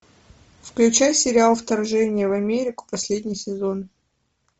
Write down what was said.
включай сериал вторжение в америку последний сезон